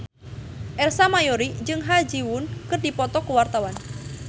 Ersa Mayori jeung Ha Ji Won keur dipoto ku wartawan